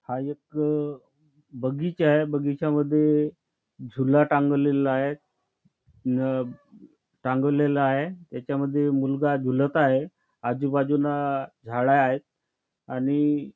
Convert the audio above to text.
हा एक बगीचा आहे बगीच्या मध्ये झूला टांगवलेला आहे न टांगवलेला आहे ह्याच्या यामध्ये मुलगा झुलत आहे आजूबाजूला झाडं आहेत आणि--